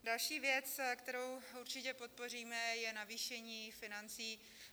Další věc, kterou určitě podpoříme, je navýšení financí.